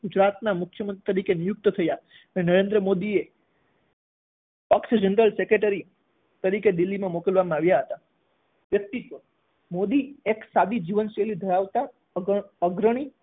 ગુજરાતના મુખ્યમંત્રી તરીકે નિયુકત થયા અને નરેન્દ્ર મોદીએ પક્ષ જનરલ સેક્રેટરી તરીકે દિલ્હી મોકલવામાં આવ્યા હતા વ્યક્તિત્વ મોદી એક સાદી જીવનશૈલી ધરાવતા અગ્ર~અગ્રણી